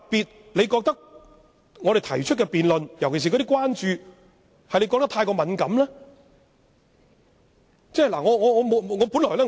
他是否認為我們提出的辯論，尤其是我們所關注的事宜太過敏感呢？